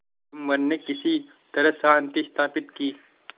जुम्मन ने किसी तरह शांति स्थापित की